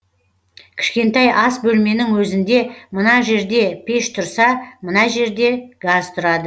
кішкентай ас бөлменің өзінде мына жерде пеш тұрса мына жерде газ тұрады